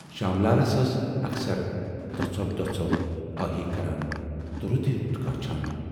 شام لالس ٲس اکثر دۅژھو دۅژھو ٲہی کران تہٕ رُتُے رُت کانچھان۔